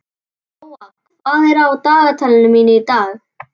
Gróa, hvað er á dagatalinu mínu í dag?